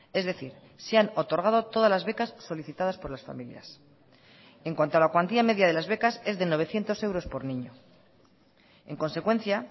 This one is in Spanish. es decir se han otorgado todas las becas solicitadas por las familias en cuanto a la cuantía media de las becas es de novecientos euros por niño en consecuencia